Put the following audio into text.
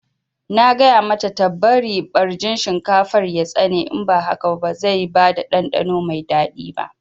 Na gaya mata ta bari ɓarjin shinkafar ya tsane in ba haka ba zai bada ɗanɗano mai daɗi ba